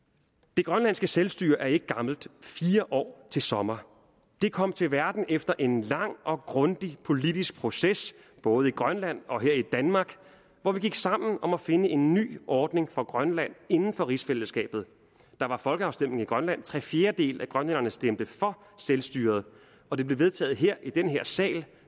det grønlandske selvstyre er ikke gammelt fire år til sommer det kom til verden efter en lang og grundig politisk proces både i grønland og her i danmark hvor vi gik sammen om at finde en ny ordning for grønland inden for rigsfællesskabet der var folkeafstemning i grønland og tre fjerdedele af grønlænderne stemte for selvstyret og det blev vedtaget her i denne sal